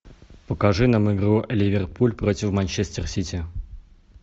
покажи нам игру ливерпуль против манчестер сити